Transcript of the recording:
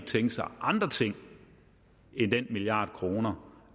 tænke sig andre ting end den milliard kroner